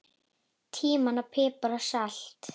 Tímían, pipar og salt